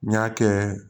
N y'a kɛ